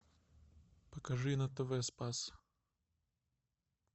покажи на тв спас